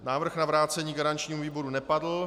Návrh na vrácení garančnímu výboru nepadl.